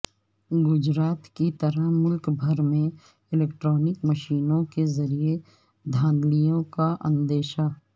گجرات کی طرح ملک بھر میں الکٹرانک مشینوں کے ذریعہ دھاندلیوں کا اندیشہ